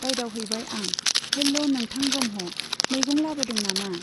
रायदाव हैबाय आं, हेल्ल' नोंथां ब्रह्म , मैगं लाबोदों नामा ?